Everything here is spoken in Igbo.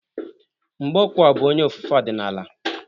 Mgbokwo bụ onye ofufe ọdịnala.